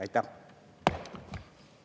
Aitäh!